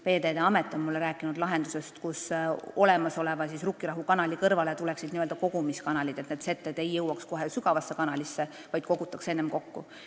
Veeteede Amet on mulle rääkinud lahendusest, et olemasoleva Rukkirahu kanali kõrvale tuleksid n-ö kogumiskanalid, nii et need setted ei jõuaks kohe sügavasse kanalisse, vaid kogutakse enne kokku.